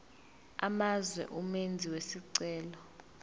amazwe umenzi wesicelo